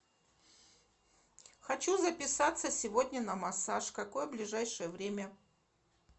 хочу записаться сегодня на массаж какое ближайшее время